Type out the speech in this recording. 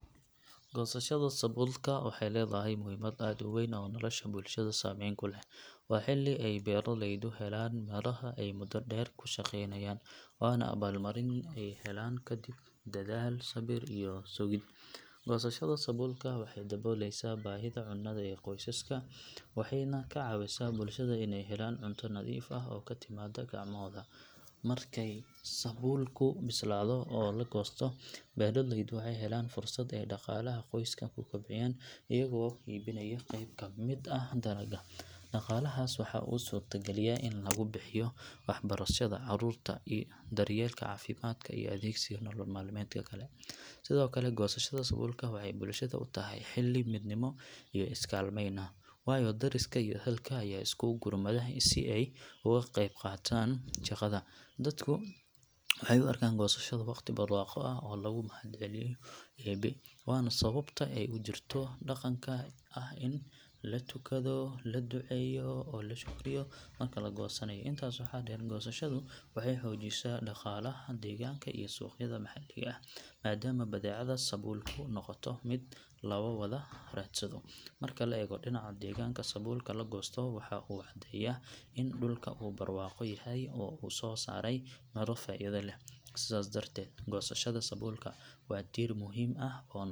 Goosashada sabuulka waxay leedahay muhiimad aad u weyn oo nolosha bulshada saameyn ku leh. Waa xilli ay beeraleydu helaan miraha ay muddo dheer ku shaqaynayeen, waana abaalmarin ay helaan kadib dadaal, sabir iyo sugid. Goosashada sabuulka waxay daboolaysaa baahida cunnada ee qoysaska, waxayna ka caawisaa bulshada inay helaan cunto nadiif ah oo ka timaadda gacmahooda. Markay sabuulku bislaado oo la goosto, beeraleydu waxay helaan fursad ay dhaqaalaha qoyska ku kobciyaan iyagoo iibinaya qayb ka mid ah dalagga. Dhaqaalahaas waxa uu u suurtageliyaa in lagu bixiyo waxbarashada carruurta, daryeelka caafimaadka iyo adeegsiga nolol maalmeedka kale. Sidoo kale, goosashada sabuulka waxay bulshada u tahay xilli midnimo iyo is-kaalmayn ah, waayo deriska iyo ehelka ayaa isku gurmada si ay uga qaybqaataan shaqada. Dadka waxay u arkaan goosashada waqti barwaaqo ah oo lagu mahadiyo Eebe, waana sababta ay u jirto dhaqanka ah in la tukado, la duceeyo, oo la shukriyo marka la goosanayo. Intaas waxaa dheer, goosashadu waxay xoojisaa dhaqaalaha deegaanka iyo suuqyada maxalliga ah, maadaama badeecada sabuulku noqoto mid la wada raadsado. Marka la eego dhinaca deegaanka, sabuulka la goosto waxa uu caddeeyaa in dhulku uu barwaaqo yahay oo uu soo saaray midho faa’iido leh. Sidaas darteed, goosashada sabuulka waa tiir muhiim ah oo .